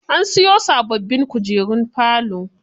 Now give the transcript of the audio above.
An siyo sababbin kujerun falo.